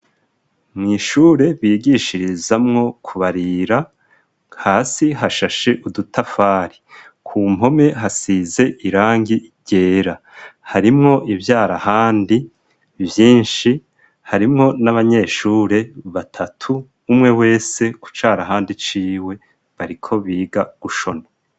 Mw'ishure bigishirizamwo kubarira hasi hashashe udutafari ku mpome hasize irangi iryera harimwo ivyarahandi vyinshi harimwo n'abanyeshure batatu umwe wese ku carahandi ciwe baria ko biga gushona.